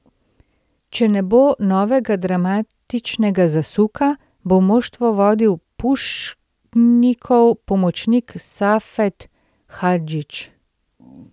Če ne bo novega dramatičnega zasuka, bo moštvo vodil Pušnikov pomočnik Safet Hadžić.